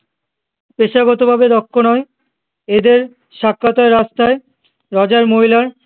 পেশাগত ভাবে দক্ষ নয় এদের সাক্ষাৎ হয়ে রাস্তায় রাজার মহিলার